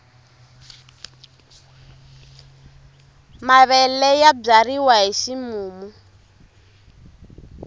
mavele ya byariwa hi ximumu